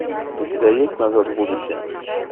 у тебя есть назад в будущее